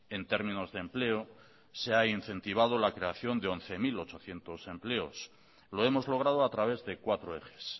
en términos de empleo se ha incentivado la creación de once mil ochocientos empleos lo hemos logrado a través de cuatro ejes